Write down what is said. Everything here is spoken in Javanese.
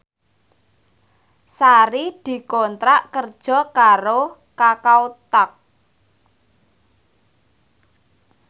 Sari dikontrak kerja karo Kakao Talk